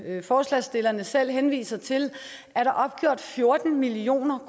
forslagsstillerne selv henviser til er der opgjort fjorten million